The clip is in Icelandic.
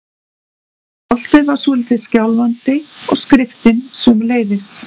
Stoltið var svolítið skjálfandi- og skriftin sömuleiðis.